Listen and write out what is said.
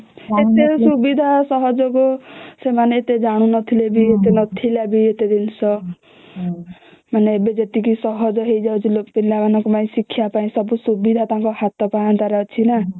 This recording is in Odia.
ସେତେବେଳେ ସୁବିଧା ସହଯୋଗ ସେମାନେ ଏତେ ଜାଣୁ ନଥିଲେ ବି ଏତେ ନଥିଲା ବି ଏତେ ଜିନିଷ ମାନେ ଏବେ ଯେତେଇକି ସହଜ ହେଇ ଯାଉଛି ମାନେ ପିଲା ମାନଙ୍କ ପାଇଁ ଶିକ୍ଷା ପାଇଁ ସବୁ ସୁବିଧା ତାଙ୍କ ହାତ ପାହାନ୍ତା ରେ ଅଛି ନ